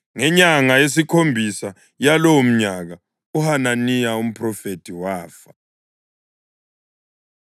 Ngenyanga yesikhombisa yalowomnyaka, uHananiya umphrofethi wafa.